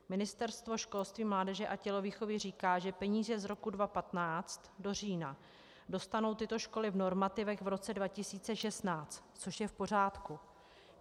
Ministerstvo školství, mládeže a tělovýchovy říká, že peníze z roku 2015 do října dostanou tyto školy v normativech v roce 2016, což je v pořádku.